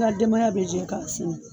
Ŋa denbaya bɛ jɛ k'a siri